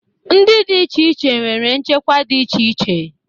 Ndị dị iche iche nwere nchekwa dị iche iche